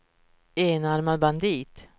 enarmad bandit